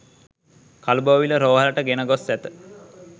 කළුබෝවිල රෝහලට ගෙන ගොස් ඇත